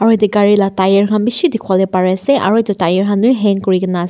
yate gari la tyre khan bishi dikhiwolae parease aru edu tyre khan bi hang kurinaase--